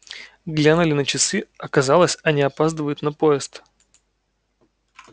глянули на часы оказалось они опаздывают на поезд